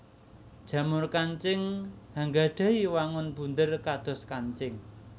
Jamur kancing anggadhahi wangun bunder kados kancing